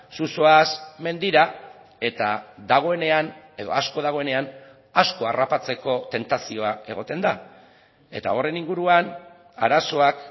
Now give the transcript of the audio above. zu zoaz mendira eta dagoenean edo asko dagoenean asko harrapatzeko tentazioa egoten da eta horren inguruan arazoak